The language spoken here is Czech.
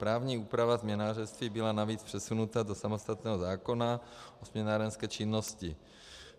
Právní úprava směnárenství byla navíc přesunuta do samostatného zákona o směnárenské činnosti.